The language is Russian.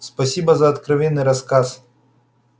спасибо за откровенный рассказ